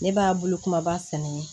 Ne b'a bolo kumaba sɛnɛ